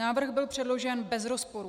Návrh byl předložen bez rozporů.